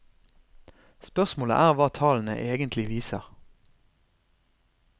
Spørsmålet er hva tallene egentlig viser.